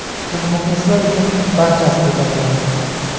Biz muxlislar uchun barchasiga tayyormiz.